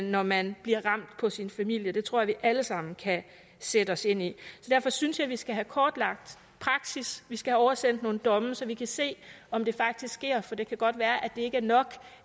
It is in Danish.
når man bliver ramt på sin familie det tror jeg vi alle sammen kan sætte os ind i derfor synes jeg vi skal have kortlagt praksis vi skal have oversendt nogle domme så vi kan se om det faktisk sker for det kan godt være at det ikke er nok